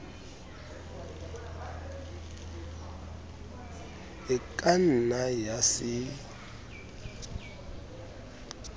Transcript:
e ka nna ya se